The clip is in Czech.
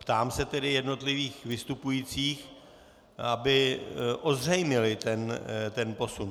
Ptám se tedy jednotlivých vystupujících, aby ozřejmili ten posun.